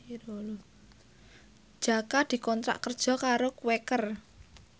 Jaka dikontrak kerja karo Quaker